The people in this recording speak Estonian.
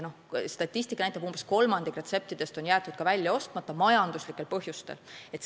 Statistika näitab, et umbes kolmandik retseptidest on jäetud välja ostmata majanduslikel põhjustel.